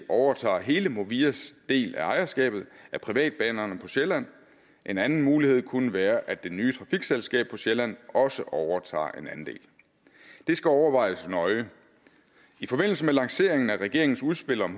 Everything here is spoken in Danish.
overtager hele movias del af ejerskabet af privatbanerne på sjælland en anden mulighed kunne være at det nye trafikselskab på sjælland også overtager en andel det skal overvejes nøje i forbindelse med lanceringen af regeringens udspil om